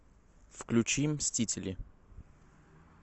включи мстители